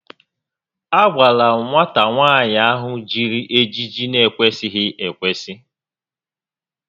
A gwara nwata nwaanyị a jiri ejiji n'ekwesịghị ekwesị